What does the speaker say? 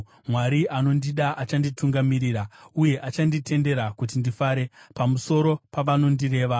Mwari anondida achanditungamirira uye achanditendera kuti ndifare pamusoro pavanondireva.